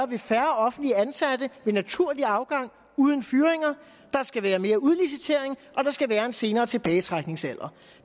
ved færre offentligt ansatte ved naturlig afgang uden fyringer der skal være mere udlicitering og der skal være en senere tilbagetrækningsalder